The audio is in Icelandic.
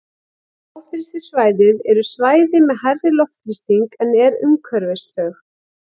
Háþrýstisvæði eru svæði með hærri loftþrýsting en er umhverfis þau.